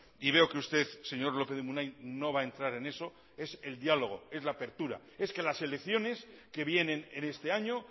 y veo que usted señor lópez de munain no va a entrar en eso es el diálogo es la apertura es que las elecciones que vienen en este año